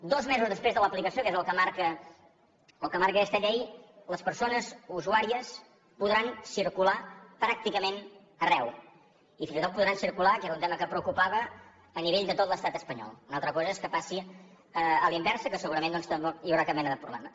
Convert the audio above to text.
dos mesos després de l’aplicació que és el que marca aquesta llei les persones usuàries podran circular pràcticament arreu i fins i tot podran circular que era un tema que preocupava a nivell de tot l’estat espanyol una altra cosa és que passi a l’inversa que segurament doncs tampoc hi haurà cap mena de problema